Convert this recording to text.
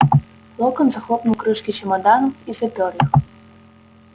локонс захлопнул крышки чемоданов и запёр их